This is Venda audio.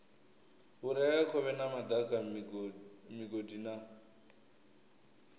vhureakhovhe na madaka migodi na